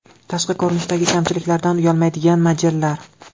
Tashqi ko‘rinishidagi kamchiliklaridan uyalmaydigan modellar.